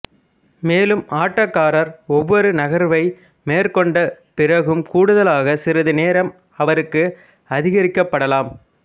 மேலும் ஆட்டக்காரர் ஒவ்வொரு நகர்வை மேற்கொண்ட பிறகும் கூடுதலாக சிறிது நேரம் அவருக்கு அதிகரிக்கப்படலாம்